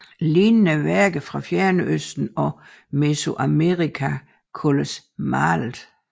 Lignende værker fra Fjernøsten og Mesoamerika kaldes malede